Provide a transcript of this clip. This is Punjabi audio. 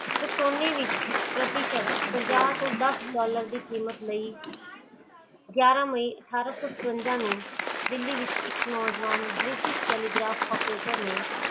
ਤੇ ਸੋਨੀ ਵਿਚ ਪ੍ਰਤੀ ਸ਼ਬਦ ਪਚਾਸ ਤੋਂ ਦੱਸ ਡਾਲਰ ਦੀ ਕੀਮਤ ਲਈ ਗਿਆਰਾਂ ਮਈ ਅਠਾਰਸੋ ਸਤਵਿੰਜਾ ਨੂੰ ਦਿਲੀ ਵਿਚ ਇਕ ਨੋ ਜਾਵਾਂ ਬ੍ਰਿਟਿਸ਼ british telegram operator